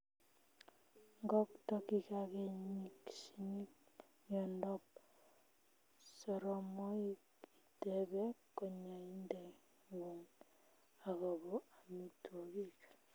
Ngokto kikakenyirchinin miondop soromoik itepee kanyaindengung akopo amitwokik